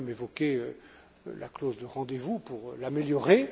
J'ai moi même évoqué la clause de rendez vous pour l'améliorer.